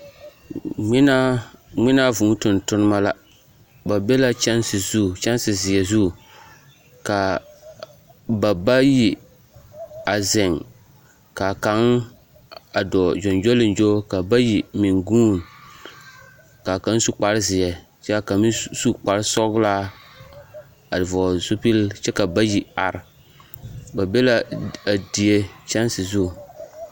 ŋmenaa ŋmenaa vūū tontoneba la ba be la kyɛnse zu, kyɛnae zeɛ zu ka ba bayi a zeŋ k'a kaŋ a dɔɔ gyɔŋgyoliŋgyo ka bayi meŋ guuni k'a kaŋ su kpare zeɛ kyɛ k'a kaŋ meŋ su kpare sɔgelaa a vɔɔle zupili kyɛ ka bayi are, ba be la a die kyɛnse zu.